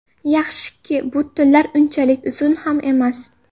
Yaxshiki, bu tunlar unchalik uzun ham emas.